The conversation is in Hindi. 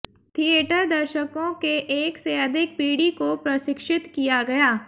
थिएटर दर्शकों के एक से अधिक पीढ़ी को प्रशिक्षित किया गया